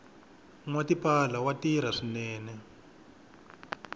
nwa tipala wa tirha swinene